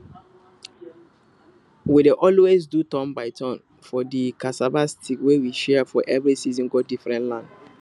we dey always do turn by turn for de cassava sticks wey we share for every season go diefferent land